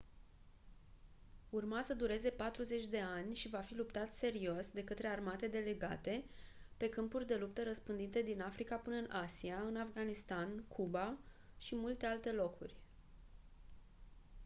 urma să dureze patruzeci de ani și va fi luptat serios de către armate delegate pe câmpuri de luptă răspândite din africa până-n asia în afganistan cuba și multe alte locuri